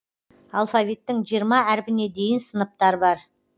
алфавиттің жиырма әрпіне дейін сыныптар бар